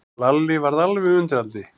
Lalli varð alveg undrandi.